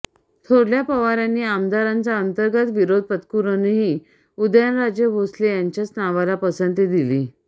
थोरल्या पवारांनी आमदारांचा अंर्तगत विरोध पत्करूनही उदयनराजे भोसले यांच्याच नावाला पसंती दिली